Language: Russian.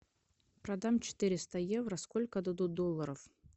продам четыреста евро сколько дадут долларов